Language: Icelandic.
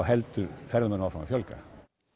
heldur ferðamönnum áfram að fjölga